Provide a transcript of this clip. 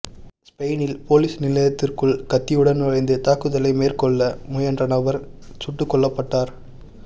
ஸ்பெயினில் பொலிஸ்நிலையத்திற்குள் கத்தியுடன் நுழைந்து தாக்குதலை மேற்கொள்ள முயன்ற நபர் சுட்டுக்கொல்லப்பட்டுள்ளார்